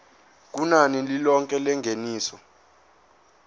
kunani lilonke lengeniso